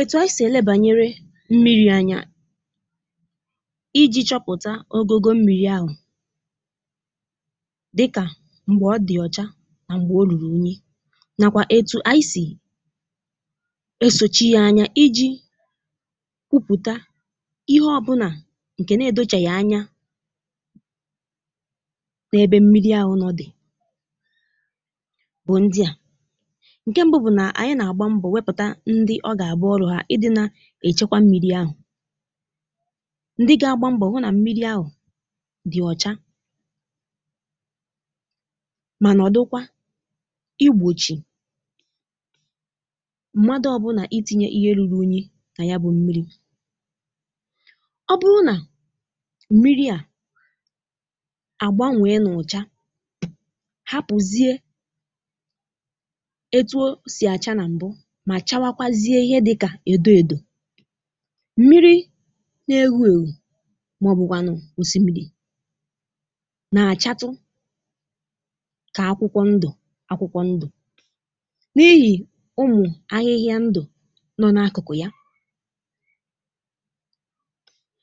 Etu ànyị sì elebà mmiri ànyà iji chọpụ̀tà ogo mmiri ahụ dịkà m̀gbè ọ dị ọ́chà na m̀gbè ọ lụrụ unyi nàkwà etu ànyị sì esoghì ànyà iji kwùpụ̀tà ihe ọ̀bụla nke nà-edochaghị ànyà n’ebe mmiri ahụ nọ bú̄ ndị à nke mbù bú̄ nà ànyị nà-agbà mbọ̄ íchekwaa mmiri ahụ ndị nà-ahụ maka ọlụ̀ à gà-àgbà mbọ̄ hụ nà mmiri ahụ dị ọ́chà mà gbàkwunyè mgbalị igbochie mmadù ọ̀bụla itinye ihe rùru unyi n’ime ya ọ bụrụ̀ nà mmiri ahụ gbàrà nwee n’ọ́chà à pụọ̀ziè etu ọ̀ sì àchá m̀gbè mmiri nà-ewù ewù màọ̀bụ nà-àchàtụ̀ n’osimiri akwụkwọ ndụ̀ nà-apụ̀tà n’íhì ụmụ̀ ahịhịa ndụ̀ nọ n’akụkụ ya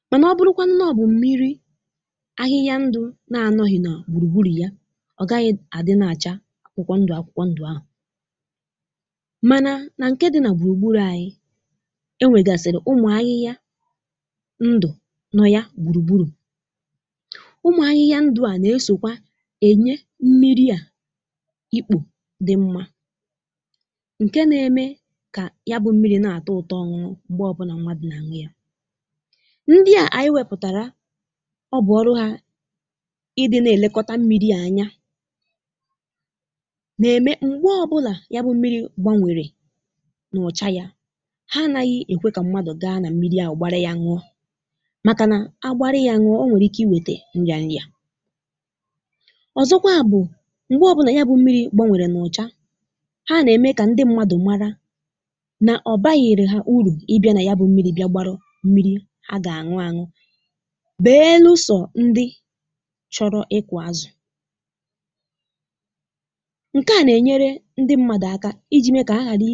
mà ọ bụrụ̀ nà mmiri ahụ bú̄ nke ahịhịa ndụ̀ adịghị nà gbùrùgbùrù ya ọ gà-àghà adị nà-àchà akwụkwọ ndụ̀ akwụkwọ ndụ̀ akwụkwọ ndụ̀ ahụ nà-egòsi nà e nwerè ndụ n’ime mmiri ụmụ̀ ahịhịa ndụ̀ ndị ahụ nà-esòkwà enyé mmiri ọkụ dị mmà nke nà-eme kà mmiri ahụ nà-atọ́ ọ̀tọ́ ịṅụ m̀gbè ọ̀bụla mmadù màọ̀bụ anụ̀manụ wépụ̀tàrà mmiri ọ bú̄ ọlụ̀ hà ị nà-elekọta ya n’íhì ya m̀gbè ọ̀bụla mmiri gbanwere à naghị̀ ekwè kà mmadù bányè n’ime ya ùgbàrị̇ kà ọ ghàrà ịlà n’íyi mà nwụọ ọ bụrụ̀ nà mmadù agbàpụ̀ n’ime mmiri gbanwere ọ nwerè ike iwètà ọrịa òzòkwa m̀gbè ọ̀bụla mmiri gbanwere n’ùchá nke à nà-eme kà ndị mmadù màrà nà ọ bāghì̀rì hà urù ọ bụrụ̀ nà mmiri ahụ gbàrà ọchịchịrị mmadù agà-aghà àṅụ̀ ya n’íhì ya à nà-enyèrè ndị mmadù àkà iji mātà nke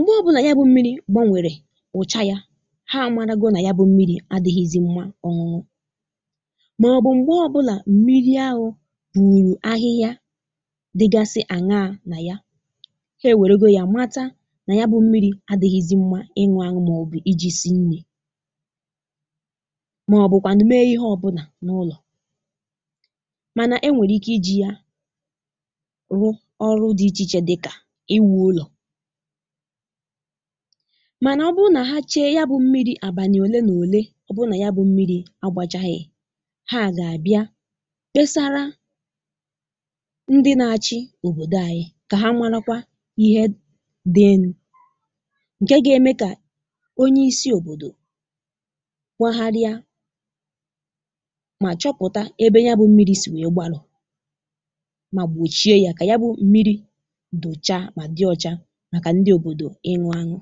ọ̀mà nà mmiri ahụ adịghị mmà ịṅụ màọ̀bụ iji sĩe nri màọ̀bụ mèe ihe ọ̀bụla n’ùlọ mà e nwerè ike iji ya rụọ̀ ọlụ̀ ndị òzò dịkà iwù ùlọ mà hà gà-ajụ onwe hà ọ̀ bụ̀ mmiri àbànị̀ òlè nà òlè ọ̀ bụ̀ nà yà bú̄ mmiri agbàchàlà ọ bụrụ̀ nà nke à bú̄ eziokwu ndị nà-achì òbòdo ànyị kwesìrì ịbịa hụ ihe kwesìrì ime onye isi òbòdo gà-ekwùpụ̀tà òkwu mà gbochie ònòdù ahụ kà mmiri ahụ dochàà mà dị ọ́chà màkà ndị òbòdo ịṅụ.